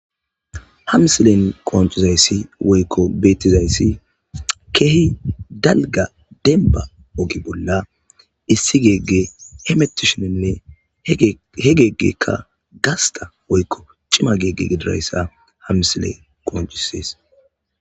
Ha msilen qoncizayssi woykko bettizayssi keehi dalga denba ogi bolla issi geegge hemetisheninne he geeggekka gasta woykko cima geegge gidirayssa hamsile qooncisees.